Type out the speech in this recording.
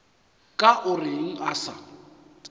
ka o reng a sa